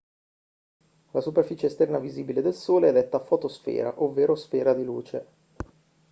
la superficie esterna visibile del sole è detta fotosfera ovvero sfera di luce